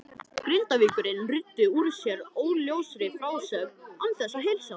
Grindvíkingurinn ruddi úr sér óljósri frásögn án þess að heilsa.